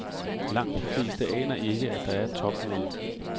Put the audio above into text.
Langt de fleste aner ikke, at der er et topmøde.